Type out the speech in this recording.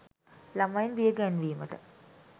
ළමයින් බිය ගැන්වීමට